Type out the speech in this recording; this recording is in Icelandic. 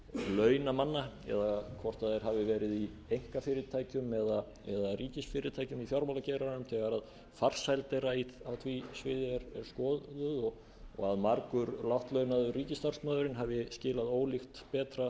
launa manna eða hvort þeir hafi verið í einkafyrirtækjum eða ríkisfyrirtækjum í fjármálageiranum þegar farsæld þeirra á því sviði er skoðuð og að margur lágt launaður ríkisstarfsmaðurinn hafi skilað ólíkt betra